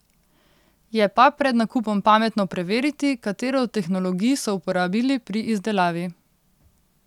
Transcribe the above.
Je pa pred nakupom pametno preveriti, katero od tehnologij so uporabili pri izdelavi.